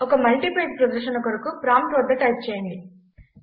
ఒక multi page ప్రదర్శన కొరకు ప్రాంప్ట్ వద్ద టైప్ చేయండి